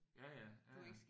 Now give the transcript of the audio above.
Ja ja. Ja ja